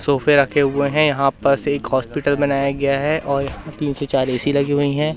सोफे रखे हुए हैं यहां पास एक हॉस्पिटल बनाया गया है और यहां तीन से चार ए_सी लगी हुई है।